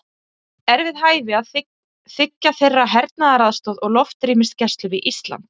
Er við hæfi að þiggja þeirra hernaðaraðstoð og loftrýmisgæslu við Ísland?